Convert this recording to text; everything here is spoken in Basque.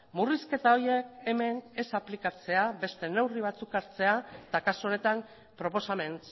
murrizketa horiek hemen ez aplikatzea beste neurri batzuk hartzea eta kasu honetan proposamen